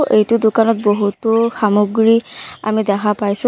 এইটো দোকানত বহুতো সামগ্ৰী আমি দেখা পাইছো। ল--